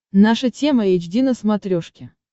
наша тема эйч ди на смотрешке